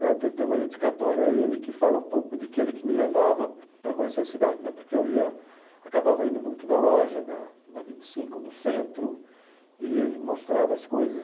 né tem até uma dedicatória a ele que fala um pouco de que ele que me levava para conhecer a cidade né, porque eu acabava indo muito na loja, na na vinte e cinco, no centro, e ele mostrava as coisas.